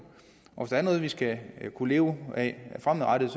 og hvis der er noget vi skal kunne leve af fremadrettet